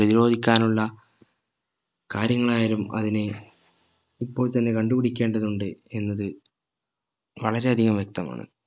പ്രധിരോധിക്കാനുള്ള കാര്യങ്ങൾ ആയാലും അതിന് ഇപ്പോൾ തന്നെ കണ്ടുപിടിക്കേണ്ടതുണ്ട് എന്നത് വളരെ അധികം വ്യക്തമാണ്